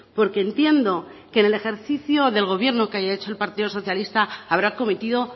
porque entiendo que en el ejercicio del gobierno que haya hecho el partido socialistas habrá cometido